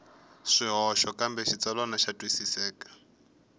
swihoxo kambe xitsalwana xa twisiseka